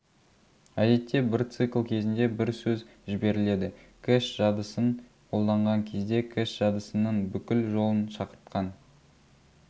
әдетте бір цикл кезінде бір сөз жіберіледі кэш жадысын қолданған кезде кэш жадысының бүкіл жолын шақыртқан